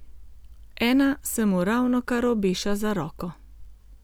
Ena se mu ravnokar obeša za roko.